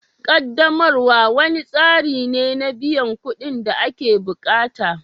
Ƙaddamarwa wani tsari ne na biyan kuɗin da ake bukata